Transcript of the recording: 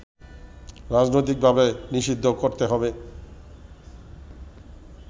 রাজনৈতিকভাবে নিষিদ্ধ করতে হবে